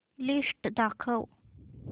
list दाखव